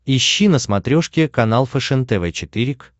ищи на смотрешке канал фэшен тв четыре к